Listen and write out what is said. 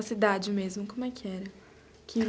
A cidade mesmo, como é que era?